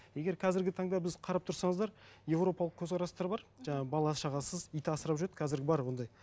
егер қазіргі таңда біз қарап тұрсаңыздар европалық көзқарастар бар жаңа бала шағасыз ит асырап жүреді қазір бар ондай